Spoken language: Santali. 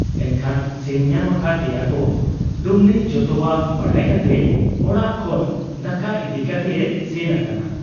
ᱮᱱᱠᱷᱟᱱ ᱥᱮᱱ ᱧᱟᱢ ᱟᱠᱟᱫ ᱮᱭᱟᱠᱚ ᱾ ᱰᱩᱢᱱᱤ ᱡᱚᱛᱚᱣᱟᱜ ᱵᱟᱰᱟᱭ ᱠᱟᱛᱮ ᱚᱲᱟᱜ ᱠᱷᱚᱱ ᱫᱟᱠᱟ ᱤᱫᱤ ᱠᱟᱛᱮᱭ ᱥᱮᱱ ᱟᱠᱟᱱᱟ ᱾